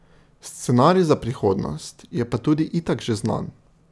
Scenarij za prihodnost je pa tudi itak že znan.